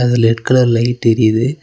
இதுல red colour light எரியுது.